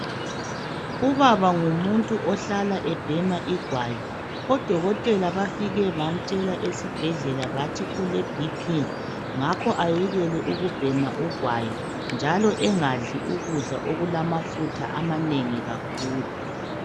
Ubaba ngumuntu ohlala ebhema igwayi. ODokoteka bafike bamtshela esibhedlela bathi ule BP ngakho kayekele ukubhena ugwayi, njalo kayekele ukudla ukudla okumamafutha amanengi.